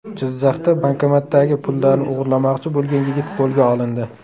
Jizzaxda bankomatdagi pullarni o‘g‘irlamoqchi bo‘lgan yigit qo‘lga olindi .